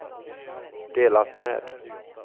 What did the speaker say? delat med